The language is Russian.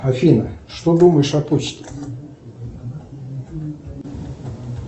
афина что думаешь о почте